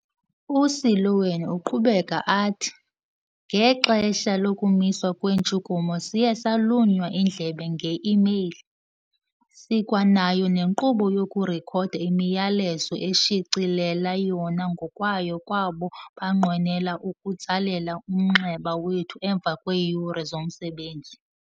U-Seloane uqhubeka athi, "Ngexesha lokumiswa kweentshukumo siye salunywa indlebe nge-imeyile. Sikwanayo nenkqubo yokurekhoda imiyalezo ezishicilela yona ngokwayo kwabo banqwenela ukutsalela umnxeba wethu emva kweeyure zomsebenzi".